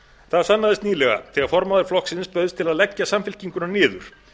það sannaðist nýlega þegar formaður flokksins bauðst til að leggja samfylkinguna niður